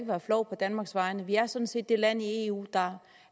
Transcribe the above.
være flov på danmarks vegne vi er sådan set det land i eu der